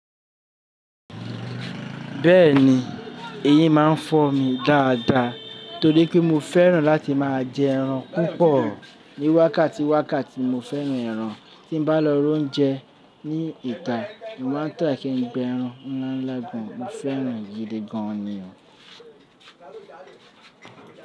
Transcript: Bẹ́ẹ̀ni, eyín máa ń fọ́ mi dáadáa torí pé mo fẹ́ràn láti máa jẹ ẹran púpọ̀. Ni wákàtí wákàtí mo fẹ́ràn ẹran, tí bá lọ roúnjẹ ní ìta, mo máa ń try kí n jẹ ẹran. Mo fẹ́ràn èyí gidi gan ni o.